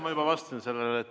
Ma juba vastasin sellele.